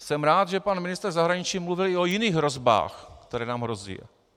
Jsem rád, že pan ministr zahraničí mluvil i o jiných hrozbách, které nám hrozí.